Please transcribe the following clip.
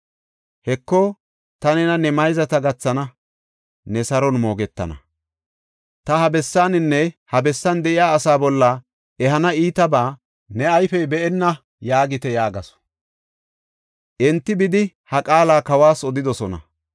Heko, ta nena ne mayzata gathana; ne saro moogetana. Ta ha bessaaninne ha bessan de7iya asaa bolla ehana iitabaa ne ayfey be7enna’ yaagite” yaagasu. Enti bidi ha qaala kawas odidosona.